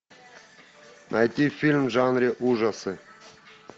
найти фильм в жанре ужасы